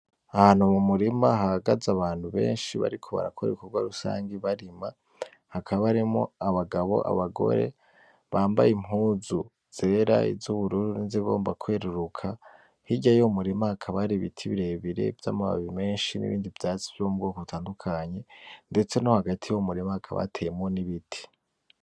Ahantu m'umurima hahagaze abantu benshi bariko barakora ibikorwa rusangi barima, hakaba harimwo abagabo n'abagore bambaye impuzu zera iz'ubururu nizigomba kweruruka, hirya yuwo murima hakaba hari ibiti birebire vy'amababi menshi n'ibindi vyatsi vy'ubwoko butandukanye, ndetse no hagati yuwo murima hakaba hateyemwo n'ibiti.